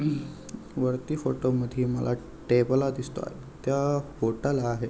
वरती फोटो मध्ये मला टेबला दिसतो आहे त्या आहे.